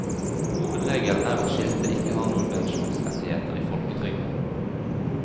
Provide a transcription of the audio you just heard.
Hovedregelen er at skilte ikke har noen pensjonsrettigheter i folketrygden.